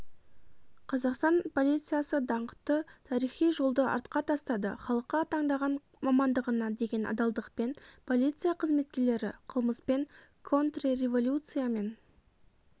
қазақстан полициясы даңқты тарихи жолды артқа тастады халыққа таңдаған мамандығына деген адалдықпен полиция қызметкерлері қылмыспен контрреволюциямен